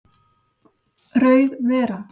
Rauð vera